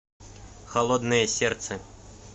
холодное сердце